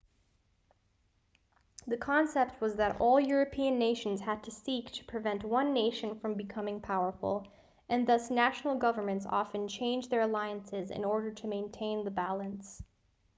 the concept was that all european nations had to seek to prevent one nation from becoming powerful and thus national governments often changed their alliances in order to maintain the balance